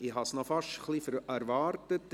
Ich habe das fast ein wenig erwartet.